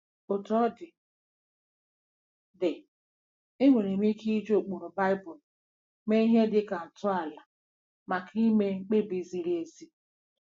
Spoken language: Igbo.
Otú ọ dị, dị, e nwere ike iji ụkpụrụ Baibulu mee ihe dị ka ntọala maka ime mkpebi ziri ezi.